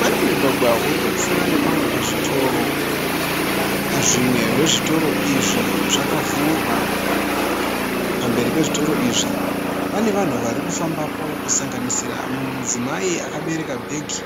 Pane mugwagwa uri kupfuura nepamwe pazvitoro. Zvimwe zvezvitoro izvi zvakavhurwa. Pamberi pezvitoro izvi pane vanhu vari kufambapo kusanganisira mumwe mudzimai akabereka bhegi